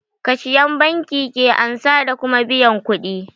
Kashiyan banki ke ansan da kuma biyan kuɗi